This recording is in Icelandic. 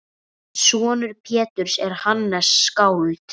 Sonur Péturs er Hannes skáld.